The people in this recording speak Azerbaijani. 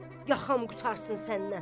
Yaxam qurtarsın səndən.